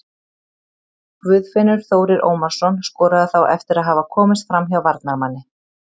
Guðfinnur Þórir Ómarsson skoraði þá eftir að hafa komist framhjá varnarmanni.